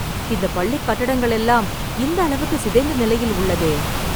இந்த பள்ளி கட்டடங்கள் எல்லாம் இந்த அளவுக்குச் சிதைந்த நிலையில் உள்ளதே!